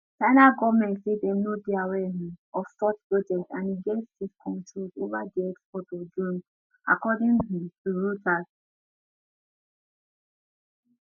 china goment say dem no dey aware um of such project and e get strict controls ova di export of drones according um to reuters